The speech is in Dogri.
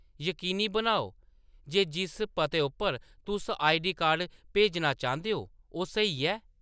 यकीनी बनाओ जे जिस पते उप्पर तुस आई. डी. कार्ड भेजना चांह्‌‌‌दे ओ, ओह्‌‌ स्हेई ऐ।